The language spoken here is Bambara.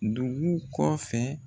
Dugu kɔfɛ